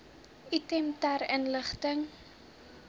item ter inligting